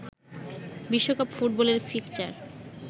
বিশ্বকাপ ফুটবলের ফিকশ্চার